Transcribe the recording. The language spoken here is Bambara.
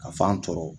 Ka fan tɔ